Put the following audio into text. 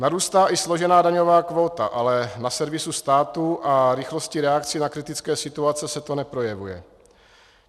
Narůstá i složená daňová kvóta, ale na servisu státu a rychlosti reakcí na kritické situace se to neprojevuje.